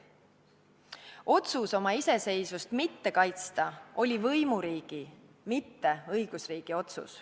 Otsus oma iseseisvust mitte kaitsta oli võimuriigi, mitte õigusriigi oma.